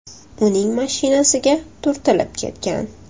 uning mashinasiga turtilib ketgan.